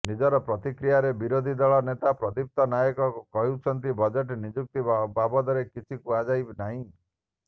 ନିଜର ପ୍ରତିକ୍ରିୟାରେ ବିରୋଧୀ ଦଳ ନେତା ପ୍ରଦୀପ୍ତ ନାୟକ କହିଛନ୍ତି ବଜେଟ ନିଯୁକ୍ତି ବାବଦରେ କିଛି କୁହାଯାଇ ନାହିଁ